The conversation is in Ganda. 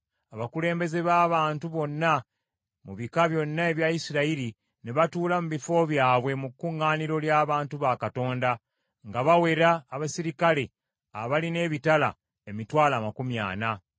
Abakulembeze b’abantu bonna mu bika byonna ebya Isirayiri ne batuula mu bifo byabwe mu kuŋŋaaniro ly’abantu ba Katonda, nga bawera abaserikale abaalina ebitala, emitwalo amakumi ana.